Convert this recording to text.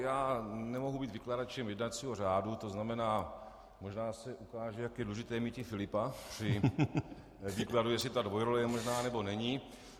Já nemohu být vykladačem jednacího řádu, to znamená, možná se ukáže, jak je důležité míti Filipa při výkladu, jestli ta dvojrole je možná, nebo není.